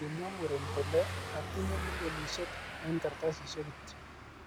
Kimwa muren kole,'atiinye milionisiek en kartasisiek kityok'